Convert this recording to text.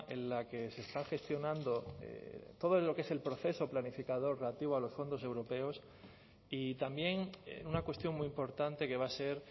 en la que se está gestionando todo lo que es el proceso planificador relativo a los fondos europeos y también una cuestión muy importante que va a ser